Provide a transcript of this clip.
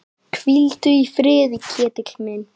Hvíldu í friði, Ketill minn.